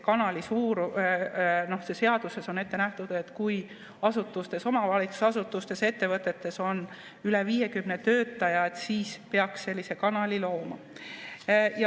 Aga seaduses on ette nähtud, et kui asutustes, omavalitsusasutustes või ettevõtetes on üle 50 töötaja, siis peaks sellise kanali looma.